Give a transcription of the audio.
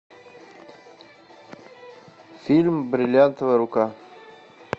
фильм бриллиантовая рука